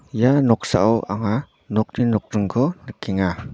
ia noksao anga nokni nokdringko nikenga.